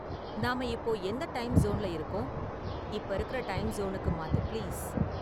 நாம இப்போ எந்த டைம் சோன்ல இருக்கோம், இப்போ இருக்குற டைம் சோனுக்கு மாத்து பிளீஸ்